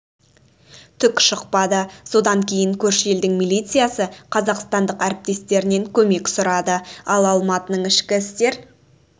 түк шықпады содан кейін көрші елдің милициясы қазақстандық әріптестерінен көмек сұрады ал алматының ішкі істер